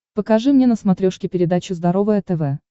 покажи мне на смотрешке передачу здоровое тв